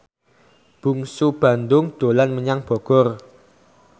Bungsu Bandung dolan menyang Bogor